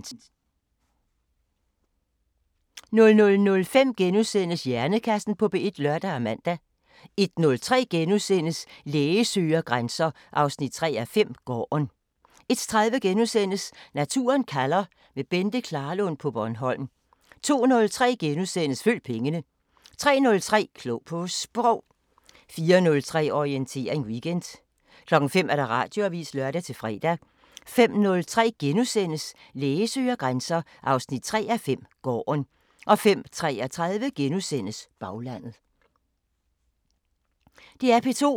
DR P2